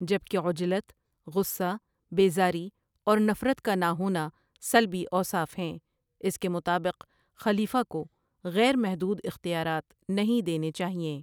جبکہ عجلت، غصہ، بے زاری اور نفرت کا نہ ہونا سلبی اوصاف ہیں اس کے مطابق خلیفہ کو غیر محدود اختیارات نہیں دینے چاہیئیں ۔